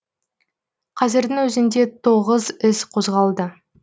қазірдің өзінде тоғыз іс қозғалды